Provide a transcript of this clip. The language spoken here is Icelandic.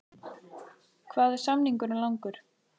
Hvað er samningurinn langur?